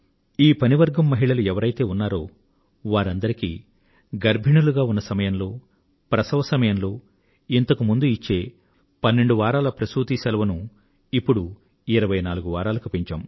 ఈ పని వర్గం మహిళలు ఎవరైతే ఉన్నారో వారందరికీ గర్భిణీలుగా ఉన్న సమయంలో ప్రసవ సమయంలో ఇంతకు ముందు ఇచ్చే 12 వారాల ప్రసూతి సెలవును ఇప్పుడు 26 వారాలకు పెంచాము